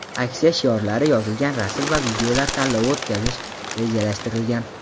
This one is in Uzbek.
aksiya shiorlari yozilgan rasm va videolar tanlovi o‘tkazish rejalashtirilgan.